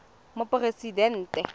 moporesidente